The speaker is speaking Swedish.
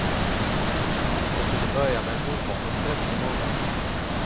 Det kunde börja med en ovanligt stressig morgon.